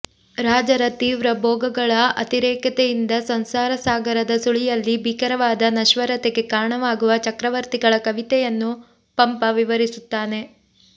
ರಾಜರ ತೀವ್ರ ಭೋಗಗಳ ಅತಿರೇಕತೆಯಿಂದ ಸಂಸಾರ ಸಾಗರದ ಸುಳಿಯಲ್ಲಿ ಭೀಕರವಾದ ನಶ್ವರತೆಗೆ ಕಾರಣವಾಗುವ ಚಕ್ರವರ್ತಿಗಳ ಕತೆಯನ್ನು ಪಂಪ ವಿವರಿಸುತ್ತಾನೆ